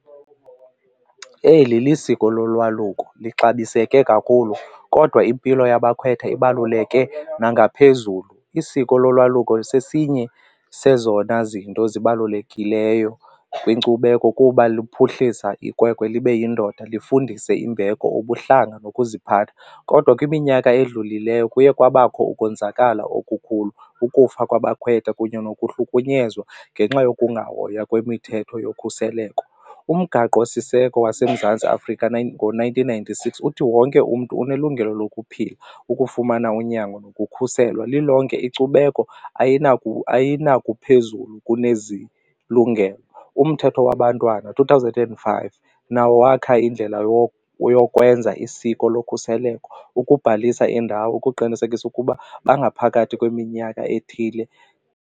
Eli lisiko lolwaluko, lixabiseke kakhulu kodwa impilo yabakhwetha ibaluleke nangaphezulu. Isiko lolwaluko sesinye sezona zinto zibalulekileyo kwinkcubeko kuba luphuhlisa ikwekwe ibe yindoda, lifundise imbeko, ubuhlanga nokuziphatha. Kodwa kwiminyaka edlulileyo kuye kwabakho ukonzakala okukhulu ukufa kwabakhwetha kunye nokuhlukunyezwa ngenxa yokungahoywa kwemithetho yokhuseleko. Umgaqosiseko waseMzantsi Afrika ngo-nineteen ninety-six uthi wonke umntu unelungelo lokuphila, ukufumana unyango nokukhuselwa, lilonke inkcubeko phezulu kunezilungelo. UMthetho waBantwana two thousand and five nawo wakha indlela yokwenza isiko lokhuseleko ukubhalisa indawo ukuqinisekisa ukuba bangaphakathi kweminyaka ethile.